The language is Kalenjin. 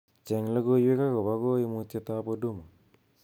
cheng logoiwek agobo koimutietab huduma